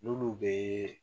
N'olu be